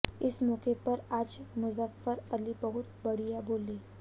इस मौके पर आज मुज़फ़्फ़र अली बहुत बढ़िया बोले